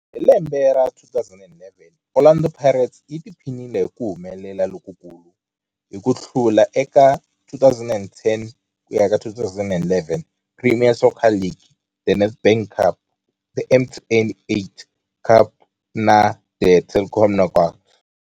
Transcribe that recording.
Hi lembe ra 2011, Orlando Pirates yi tiphinile hi ku humelela lokukulu hi ku hlula eka 2010 ku ya ka 11 Premier Soccer League, The Nedbank Cup, The MTN 8 Cup na The Telkom Knockout.